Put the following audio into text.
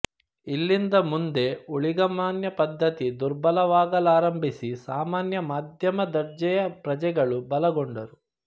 ಇಲ್ಲಿಂದ ಮುಂದೆ ಊಳಿಗಮಾನ್ಯ ಪದ್ಧತಿ ದುರ್ಬಲವಾಗಲಾರಂಭಿಸಿ ಸಾಮಾನ್ಯ ಮಧ್ಯಮ ದರ್ಜೆಯ ಪ್ರಜೆಗಳು ಬಲಗೊಂಡರು